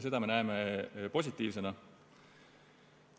Seda me näeme positiivsena.